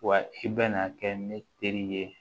Wa i bɛna kɛ ne teri ye